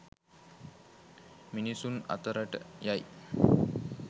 මිනිස්සු අතරට යයි